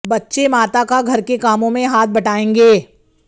बच्चे माता का घर के कामों में हाथ बटायेंगें